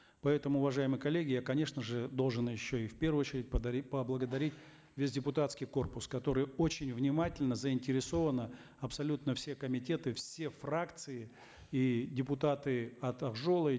поэтому уважаемые коллеги я конечно же должен еще и в первую очередь поблагодарить весь депутатский корпус который очень внимательно заинтересованно абсолютно все комитеты все фракции и депутаты от ак жола и